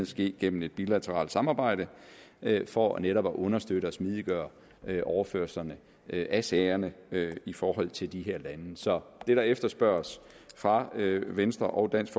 ske gennem et bilateralt samarbejde for netop at understøtte og smidiggøre overførslerne af sagerne i forhold til de her lande så det der efterspørges fra venstre og dansk